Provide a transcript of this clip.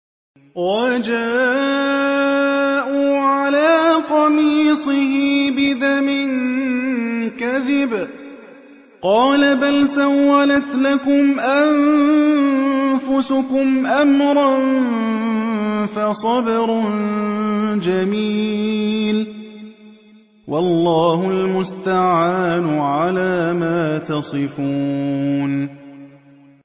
وَجَاءُوا عَلَىٰ قَمِيصِهِ بِدَمٍ كَذِبٍ ۚ قَالَ بَلْ سَوَّلَتْ لَكُمْ أَنفُسُكُمْ أَمْرًا ۖ فَصَبْرٌ جَمِيلٌ ۖ وَاللَّهُ الْمُسْتَعَانُ عَلَىٰ مَا تَصِفُونَ